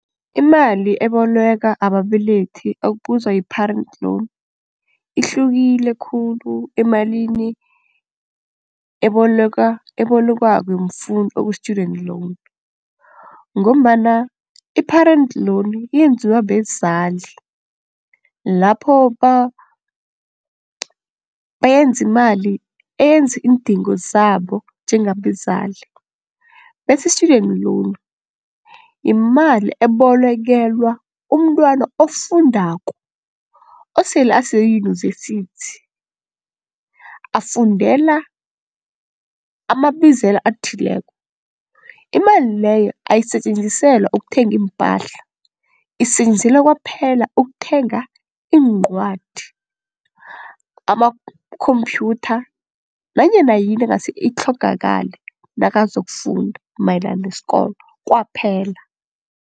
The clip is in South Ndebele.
Imali eboleka ababelethi okubuzwa yi-parent loan ihlukile khulu emalini ebolekwako mfundi okuyi-student loan ngombana i-parent loan iyenziwa bezali lapho bayenzi imali eyenza iindingo zabo njengabezali, bese i-student loan yimali ebolekelwa umntwana ofundako osele ase-University afundela amabizelo athileko. Imali leyo eyisetjenziselwa ukuthenga iimpahla isetjenziselwa kwaphela ukuthenga iincwadi, amakhomphyutha nanyana yini engase itlhogakale nakazokufunda mayelana nesikolo kwaphela.